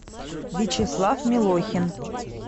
вячеслав милохин